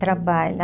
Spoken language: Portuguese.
Trabalha.